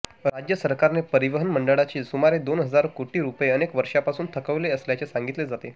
राज्य सरकारने परिवहन महामंडळाचे सुमारे दोन हजार कोटी रुपये अनेक वर्षापासून थकवले असल्याचे सांगितले जाते